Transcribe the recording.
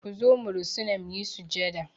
Ku zo mu rusuna mu yi sujada!